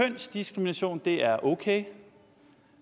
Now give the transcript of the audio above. at kønsdiskrimination er okay